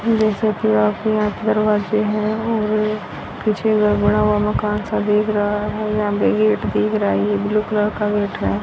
देख सकते हो आप यहां पर वाशिंग है और जो ये बना हुआ मकान सा देख रहा है यहां पे गेट देख रहा है ये ब्ल्यू कलर का गेट है।